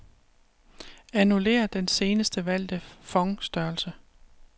Annullér den senest valgte font-størrelse.